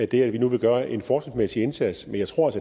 det at vi nu vil gøre en forskningsmæssig indsats men jeg tror